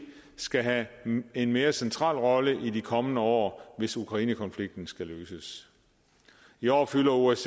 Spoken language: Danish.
skal have en mere central rolle i de kommende år hvis ukrainekonflikten skal løses i år fylder osce